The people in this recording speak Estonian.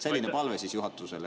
Selline palve juhatusele.